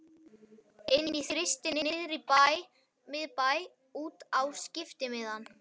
Inn í Þristinn niðri í miðbæ út á skiptimiðann.